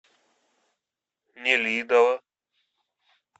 нелидово